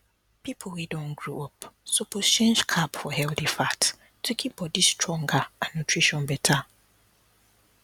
people wey don grow up suppose change carb for healthy fat to keep body stronger and nutrition better